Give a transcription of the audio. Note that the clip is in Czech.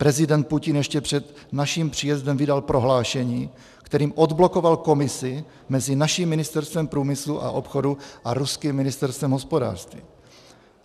Prezident Putin ještě před naším příjezdem vydal prohlášení, kterým odblokoval komisi mezi naším Ministerstvem průmyslu a obchodu a ruským Ministerstvem hospodářství.